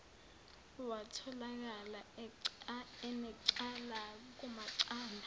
watholakala enecala kumacala